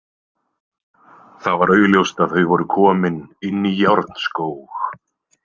Það var augljóst að þau voru komin inn í Járnskóg.